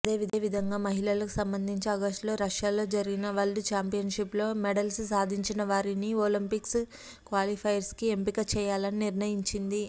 అదేవిధంగా మహిళలకు సంబంధించి అగస్టులో రష్యాలో జరిగిన వరల్డ్ ఛాంపియన్షిప్లో మెడల్స్ సాధించినవారిని ఒలింపిక్స్ క్వాలిఫైర్స్కి ఎంపిక చేయాలని నిర్ణయించింది